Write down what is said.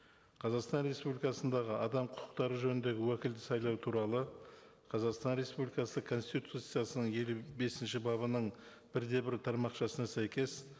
қазақстан республикасындағы адам құқықтары жөніндегі уәкілді сайлау туралы қазақстан республикасы конституциясының елу бесінші бабының бір де бір тармақшасына сәйкес